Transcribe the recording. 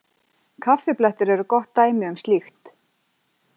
Kaffiblettir eru gott dæmi um slíkt.